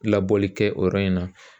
Labɔli kɛ o yɔrɔ in na